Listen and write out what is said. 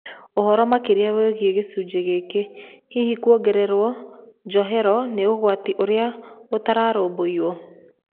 Ũhoro makĩria wĩgiĩ gĩcunjĩ gĩkĩ, hihi kũongererũo njohero nĩ ũgwati ũrĩa ũtararũmbũiyo?